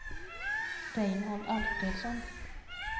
Reinhold Alfredsson